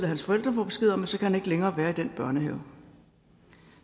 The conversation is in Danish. hans forældre så besked om at så kan han ikke længere være i den børnehave